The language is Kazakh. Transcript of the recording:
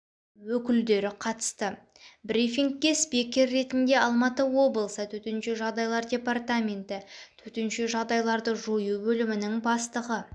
өкілдері қатысты брифингке спикер ретінде алматы облысы төтенше жағдайлар департаменті төтенше жағдайларды жою бөлімінің бастығы